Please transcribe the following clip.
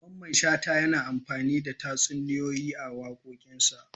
Mamman shata yana amfani da tatsuniyoyi a cikin wakokinsa.